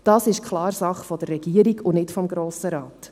diese ist klar Sache der Regierung und nicht des Grossen Rates.